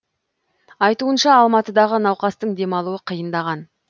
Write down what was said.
айтуынша алматыдағы науқастың демалуы қиындаған